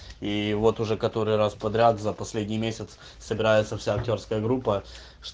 и вот уже который раз подряд за последний месяц собирается вся актёрская группа